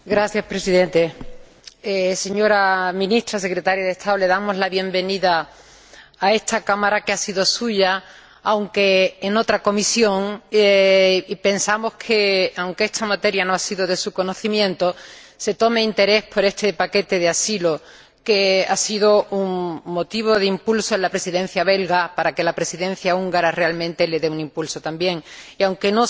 Señor Presidente, señora Ministra Secretaria de Estado, le damos la bienvenida a esta Cámara, que ha sido suya, y pensamos que, aunque esta materia no ha sido de su conocimiento, se toma interés por este paquete de asilo ―que ha sido un motivo de impulso en la Presidencia belga―, para que la Presidencia húngara realmente le dé un impulso también y, aunque